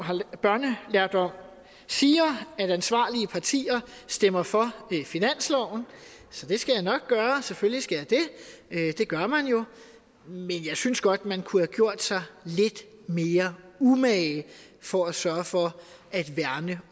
siger at ansvarlige partier stemmer for ved finansloven så det skal jeg nok gøre selvfølgelig skal jeg det det gør man jo men jeg synes godt man kunne have gjort sig lidt mere umage for at sørge for at værne